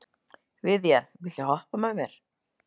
Viðjar, viltu hoppa með mér?